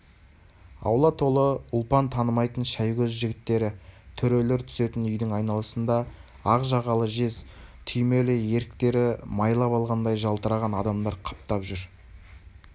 аула толы ұлпан танымайтын шәйгөз жігіттері төрелер түсетін үйдің айналасында ақ жағалы жез түймелі етіктері майлап алғандай жалтыраған адамдар қаптап жүр